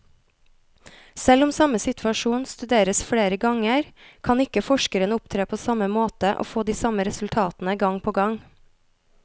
Selv om samme situasjon studeres flere ganger, kan ikke forskeren opptre på samme måte og få de samme resultatene gang på gang.